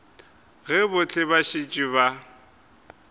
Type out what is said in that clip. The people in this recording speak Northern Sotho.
ge bohle ba šetše ba